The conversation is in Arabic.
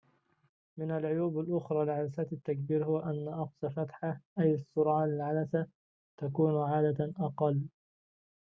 من العيوب الأخرى لعدسات التكبير هو أن أقصى فتحة أي السرعة للعدسة تكون عادة أقل